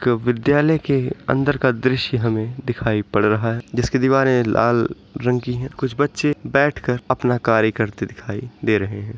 एक विद्यालय के अंदर का दृश्य हमें दिखाई पड़ रहा है जिसकी दिवारें लाल रंग की हैं। कुछ बच्चे बैठ कर अपना कार्य करते दिखाई दे रहें हैं।